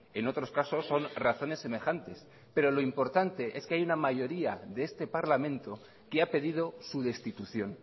en otros casos son razones semejantes pero lo importante es que hay una mayoría de este parlamento que ha pedido su destitución